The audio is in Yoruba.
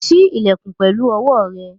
Ṣí ilẹ̀kùn pẹ̀lú owó rẹ̀!